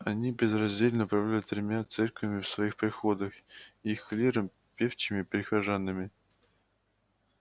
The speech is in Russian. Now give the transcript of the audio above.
они безраздельно управляли тремя церквами в своих приходах их клиром певчими и прихожанами